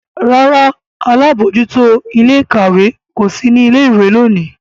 ràrá àlabòjuto Ilé-ìkàwé kò sí ní ilé ìwé lóni.